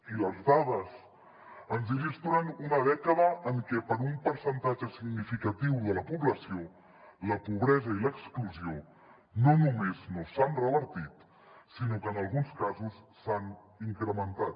i les dades ens il·lustren una dècada en què per a un percentatge significatiu de la població la pobresa i l’exclusió no només no s’han revertit sinó que en alguns casos s’han incrementat